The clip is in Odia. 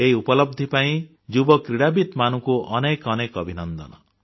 ଏହି ଉପଲବ୍ଧି ପାଇଁ ଯୁବକ୍ରୀଡ଼ାବିତମାନଙ୍କୁ ଅନେକ ଅନେକ ଅଭିନନ୍ଦନ